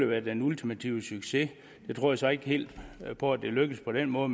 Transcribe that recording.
være den ultimative succes jeg tror så ikke helt på at det lykkes på den måde